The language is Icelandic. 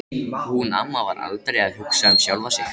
Hún amma var aldrei að hugsa um sjálfa sig.